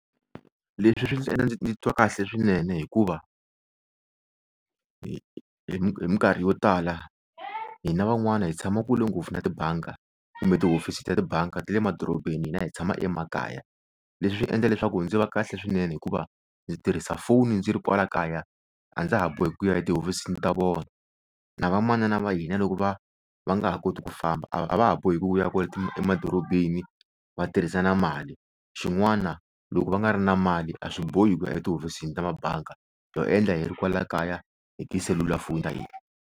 Leswi swi ndzi endla ndzi titwa kahle swinene hikuva hi hi mikarhi yo tala hina van'wana hi tshama kule ngopfu na tibanga kumbe tihofisi ta le banga ta le madorobeni hina hi tshama emakaya leswi swi endla leswaku ndzi va kahle swinene hikuva ndzi tirhisa foni ndzi ri kwala kaya a ndza ha boheki ku ya hi tihofisini ta vona na va manana va hina loko va va nga ha koti ku famba a va ha boheki ku ya kwala emadorobeni va tirhisa na mali xin'wana loko va nga ri na mali a swi bohi ku ya etihofisini ta mabanga ho endla hi ri kwala kaya hi tiselulafoni ta hina.